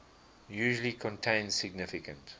usually contain significant